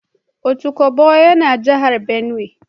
Otukpo yana jihar benue